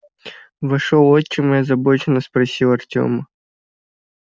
вошёл отчим и озабоченно спросил артема